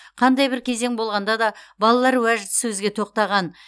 қандай бір кезең болғанда да балалар уәжді сөзге тоқтаған